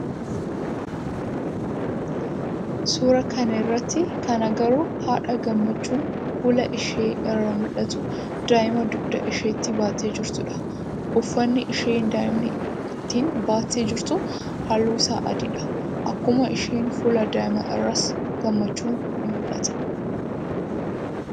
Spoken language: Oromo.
Suuraa kana irratti kan agarru haadha gammachuun fuula ishee irraa muul'atu daai'maa dugda isheetti baattee jirtudha. Ufanni isheen daai'ma ittiin baattee jirtu halluu isaa adidha. Akkuma ishee fuula daai'maa irraas gammachuun ni muul'ata.